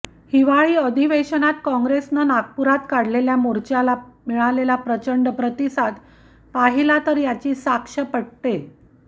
हिवाळी अधिवेशनात काँग्रेसने नागपुरात काढलेल्या मोर्चाला मिळालेला प्रचंड प्रतिसाद पाहिला तर याची साक्ष पटते